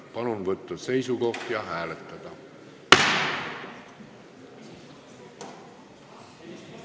Palun võtta seisukoht ja hääletada!